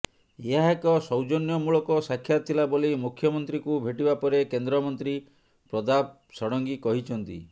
ଏହା ଏକ ସୌଜନ୍ୟମୂଳକ ସାକ୍ଷାତ ଥିଲା ବୋଲି ମୁଖ୍ୟମନ୍ତ୍ରୀଙ୍କୁ ଭେଟିବା ପରେ କେନ୍ଦ୍ରମନ୍ତ୍ରୀ ପ୍ରତାପ ଷଡଙ୍ଗୀ କହିଛନ୍ତି